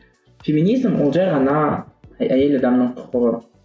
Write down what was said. феминиз ол жай ғана әйел адамның құқығы